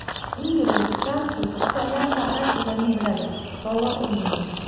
Ingliz, fransuz, italyan va arab tillarini biladi, polo o‘ynaydi.